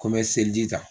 Ko n bɛ seliji ta